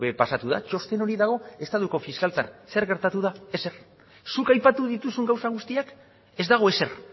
pasatu da txosten hori dago estatuko fiskaltzan zer gertatu da ezer zuk aipatu dituzun gauza guztiak ez dago ezer